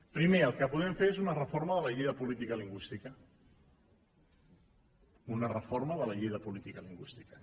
primer el que podem fer és una reforma de la llei de política lingüística una reforma de la llei de política lingüística